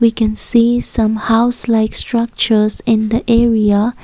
we can some house like structures in the area.